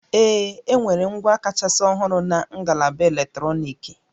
Ee, enwere ngwa kachasị ọhụrụ na ngalaba eletrọnịkị